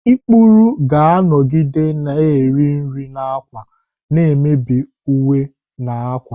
ikpuru ga-anọgide na-eri nri na ákwà, na-emebi uwe na akwa.